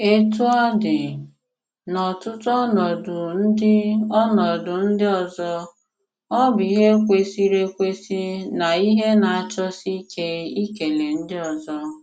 Òtú ọ dị, n'ọ̀tụ̀tù ọnọdụ ndị ọnọdụ ndị ọzọ, ọ bụ̀ ihe kwesìrì ekwesì na ihe na-àchọsì ìkè ìkèlè ndị ọzọ.